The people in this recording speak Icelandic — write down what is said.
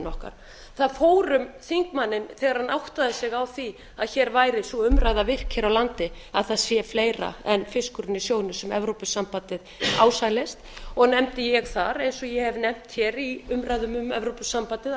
okkar það fór um þingmanninn þegar áttaði sig á því að hér væri sú umræða virk hér á landi að það sé fleira en fiskurinn í sjónum sem evrópusambandið ásælist og nefndi ég þar eins og ég hef nefnt hér í umræðum um evrópusambandið alveg